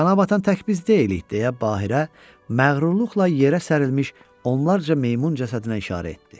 Qana batan tək biz deyilik, deyə Bahirə məğrurluqla yerə sərilmiş onlarca meymun cəsədinə işarə etdi.